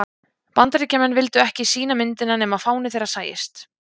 Bandaríkjamenn vildu ekki sýna myndina nema fáni þeirra sæist.